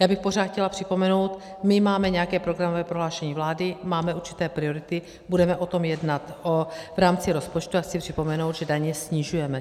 Já bych pořád chtěla připomenout, my máme nějaké programové prohlášení vlády, máme určité priority, budeme o tom jednat v rámci rozpočtu a chci připomenout, že daně snižujeme.